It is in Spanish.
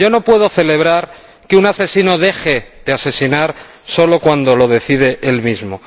Yo no puedo celebrar que un asesino deje de asesinar solo cuando lo decide él mismo.